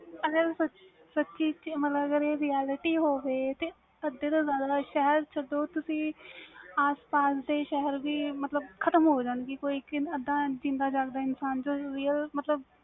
ਅਗਰ ਇਹ realty ਹੋਵੇ ਤਾ ਅਦੇ ਤੂੰ ਜਿਆਦਾ ਸ਼ਹਿਰ ਸਡੋ ਤੁਸੀ ਆਸ ਪਾਸ ਦੇ ਵੀ ਸ਼ਹਿਰ ਖ਼ਤਮ ਹੋ ਜਾਨ ਗਏ ਕੋਈ ਵੀਜਿੰਦਾ ਜਾਗਦਾ ਇਨਸਾਨ ਬਚੇ ਹੀ ਨਾ